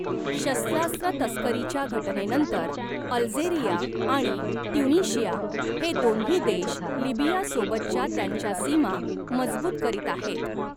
शस्त्रास्त्र तस्करीच्या घटनेनंतर अल्जेरिया आणि ट्युनिशिया हे दोन्ही देश लिबियासोबतच्या त्यांच्या सीमा मजबूत करीत आहेत.